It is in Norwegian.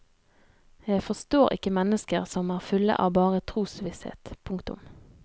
Jeg forstår ikke mennesker som er fulle av bare trosvisshet. punktum